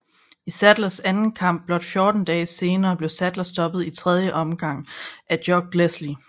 I Saddlers anden kamp blot 14 dage senere blev Saddler stoppet i tredje omgang af Jock Leslie